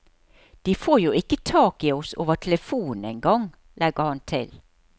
De får jo ikke tak i oss over telefonen engang, legger han til.